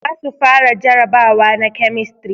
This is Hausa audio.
Za su fara jarabawa na kemistri